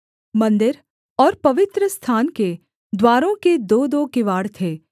मन्दिर और पवित्रस्थान के द्वारों के दोदो किवाड़ थे